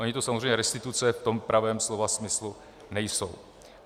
Ony to samozřejmě restituce v tom pravém slova smyslu nejsou.